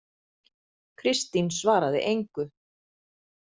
Kristín svaraði engu.